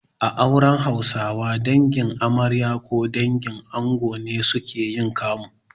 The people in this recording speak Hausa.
A auren Hausawa, Dangin amarya ko dangin ango ne suke yin kamu.